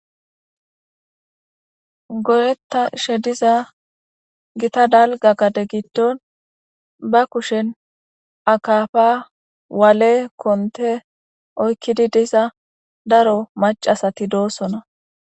godetta ishe diza gita dalga gade gitton ba kushen akafa waale konte oykkidi diza daro macasati doosona